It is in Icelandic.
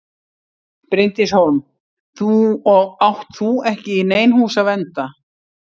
Bryndís Hólm: Og átt þú ekki í nein hús að vernda?